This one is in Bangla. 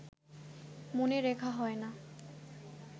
মনে রেখে হয় না